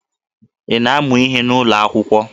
Ị na-amụ ihe n'ụlọ akwụkwọ?